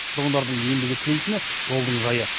тұрғындардың ендігі тілейтіні жолдың жайы